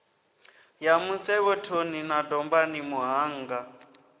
ya musevhethoni na dombani muṱhannga